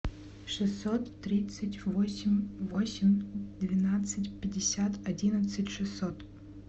шестьсот тридцать восемь восемь двенадцать пятьдесят одиннадцать шестьсот